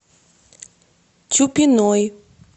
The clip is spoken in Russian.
чупиной